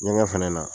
Ɲɛgɛn fɛnɛ na